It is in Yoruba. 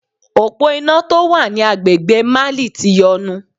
Òpó iná tó wà ní agbègbè Mali ti yọnu.